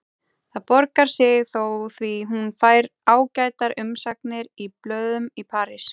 Það borgar sig þó því hún fær ágætar umsagnir í blöðum í París.